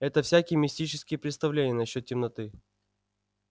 это всякие мистические представления на счёт темноты